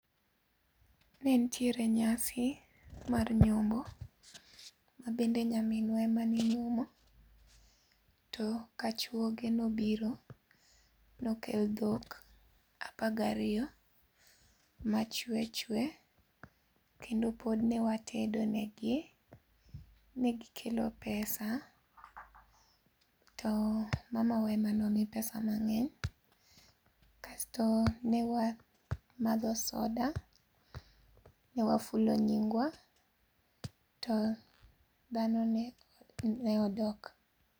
Nentiere nyasi, mar nyombo, ma bende nyaminwa ema ninyuomo, to kachuoge nobiro, nokel dhok apagariyo, machwechwe. Kendo pod newatedo negi. Negikelo pesa, to mamawa ema nomi pesa mang'eny, kasto ne wamadho soda, newafulo nyingwa, to dhano ne ne odok